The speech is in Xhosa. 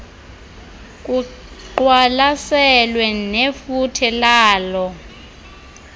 kuqwalaselwe nefuthe laloo